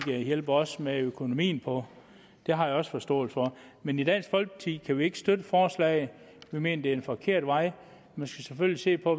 hjælpe os med økonomien på det har jeg også forståelse for men i dansk folkeparti kan vi ikke støtte forslaget vi mener det er en forkert vej man skal selvfølgelig se på